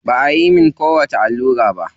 Ba ayi mun kowacce allura ba.